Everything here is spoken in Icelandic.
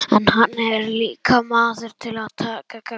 En hann er líka maður til að taka gagnrýni.